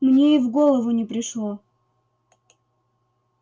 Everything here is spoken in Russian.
мне и в голову не пришло